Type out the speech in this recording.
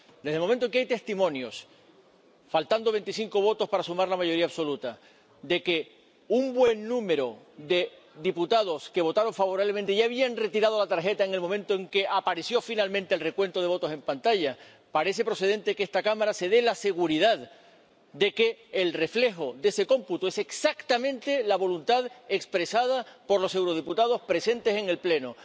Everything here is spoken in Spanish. Desde el momento en que hay testimonios —faltando veinticinco votos para sumar la mayoría absoluta— de que un buen número de diputados que votaron favorablemente ya habían retirado la tarjeta en el momento en que apareció finalmente el recuento de votos en pantalla, parece procedente que esta Cámara se asegure de que el reflejo de ese cómputo es exactamente la voluntad expresada por los diputados presentes en el Pleno.